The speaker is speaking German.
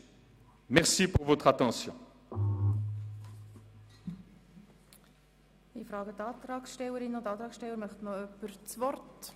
Wünscht jemand seitens der Antragstellerinnen und Antragsteller das Wort?